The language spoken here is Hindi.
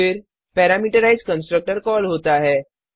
फिर पैरामीटराइज्ड कंस्ट्रक्टर कॉल होता है